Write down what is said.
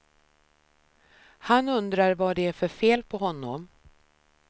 Han undrar vad det är för fel på honom.